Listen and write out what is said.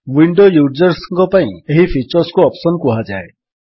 window ୟୁଜର୍ସଙ୍କ ପାଇଁ ଏହି ଫିଚର୍ କୁ ଅପ୍ସନ୍ କୁହାଯାଏ